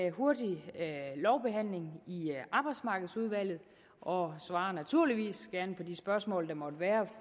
en hurtig lovbehandling i arbejdsmarkedsudvalget og svarer naturligvis gerne på de spørgsmål der måtte være